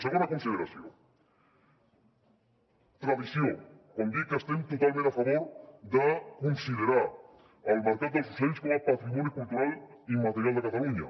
segona consideració tradició quan dic que estem totalment a favor de considerar el mercat dels ocells com a patrimoni cultural i immaterial de catalunya